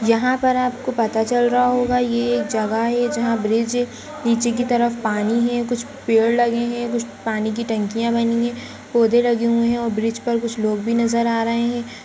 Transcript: यहाँ पर आपको पता चल रहा होगा ये एक जगह है जहां ब्रिज नीचे की तरफ पानी है। कुछ पेड़ लगे हैं। कुछ पानी की टंकियां बनी हैं। पौधे लगें हुए हैं और कुछ लोग भी नज़र आ रहे हैं।